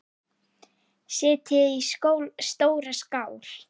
Setjið í stóra skál.